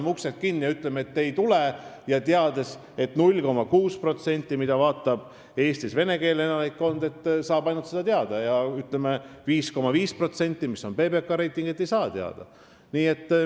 Kas paneme uksed kinni ja ütleme, et te ei tule sinna, teades, et selle info saab siis teada ainult 0,6% venekeelsest elanikkonnast, need, kes vaatavad ETV+, ja 5,5% ei saa seda teada?